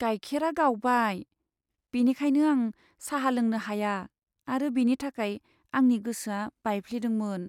गाइखेरा गावबाय, बेनिखायनो आं साहा लोंनो हाया आरो बिनि थाखाय आंनि गोसोआ बायफ्लेदोंमोन।